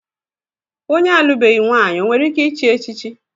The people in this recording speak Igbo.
Onye alụbeghi nwaanyị o nwere ike ịchị echichi?